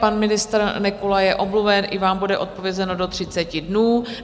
Pan ministr Nekula je omluven, i vám bude odpovězeno do 30 dnů.